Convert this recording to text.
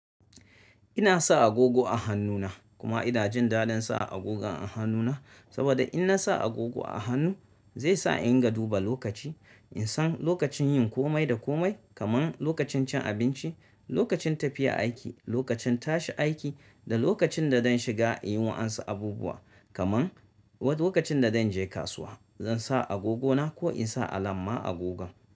Ina sa agogo a hannuna kuma ina jin dadin sa agogon a hannuna, saboda in na sa agogo a hannu zai sa in dinga duba lokaci. In san lokacin yin komai da komai kaman lokacin cin abinci, lokacin tafiya aiki, lokacin tashi aiki da lokacin da zan shiga in yi wa'ansu abubuwa kaman wa lokacin da zan je kasuwa, zan sa agogona ko in sa alam ma agogon.